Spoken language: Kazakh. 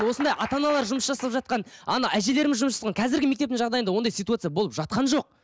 осындай ата аналар жұмыс жасап жатқан ана әжелеріміз жұмыс жасап жатқан қазіргі мектептің жағдайында ондай ситуация болып жатқан жоқ